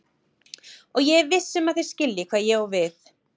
Og ég er viss um að þér skiljið hvað ég á við.